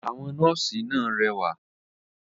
Àwọn “nọ́ọ̀sí” náà rẹwà.